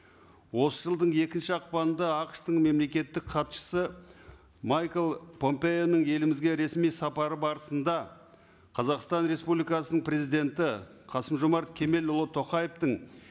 осы жылдың екінші ақпанында ақш тың мемлекеттік хатшысы майкл помпеоның елімізге ресми сапары барысында қазақстан республикасының президенті қасым жомарт кемелұлы тоқаевтың